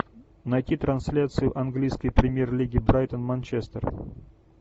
найти трансляцию английской премьер лиги брайтон манчестер